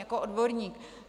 Jako odborník.